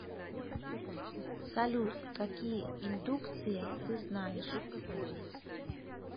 салют какие индукция ты знаешь